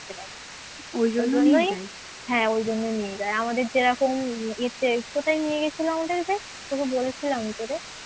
হ্যাঁ ওই জন্য নিয়ে যায় আমাদের যেরকম ইয়ে তে কোথায় নিয়ে গেছিল আমাদের কে তোকে বলেছিলাম তোরে